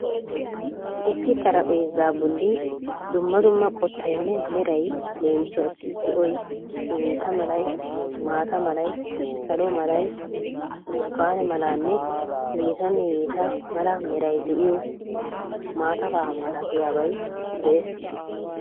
Issi xaraphpheezzaa boli dumma dumma qottaynne meray leemisuwassi zo'oy, bidintta malay, maata malay, salo malay, burtukaane malanne hegettanne hegetta mala meray de'iyo matafa malattiyaabay dees.